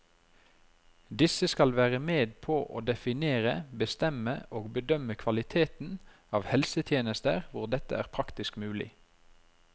Disse skal være med på å definere, bestemme og bedømme kvaliteten av helsetjenester hvor dette er praktisk mulig.